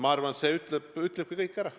Ma arvan, et see ütlebki kõik ära.